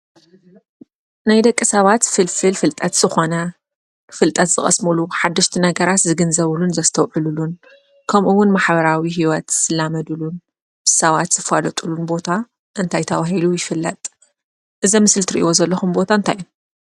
ናይ ደቂ ሰባት ፍልፍል ፍልጠት ዝኾነ ፍልጠት ዝቐስምሉ ሓደሽቲ ነገራት ዝግንዘብሉን ዘስተዉዕሉሉን ከምኡ እዉን ማሕበራዊ ሂወት ዝላመድሉን ሰባት ዝፍለጥሉ ቦታ እንታይ ተበሂሉ ይፍለጥ? እዚ ምስሊ ትርእይዎ ዘለኹም እንታይ እዩ?